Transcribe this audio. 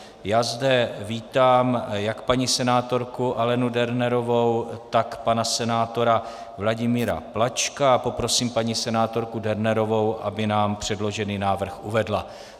Já zde vítám jak paní senátorku Alenu Dernerovou, tak pana senátora Vladimíra Plačka a poprosím paní senátorku Dernerovou, aby nám předložený návrh uvedla.